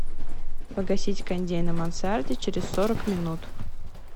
погасить кондей на мансарде через сорок минут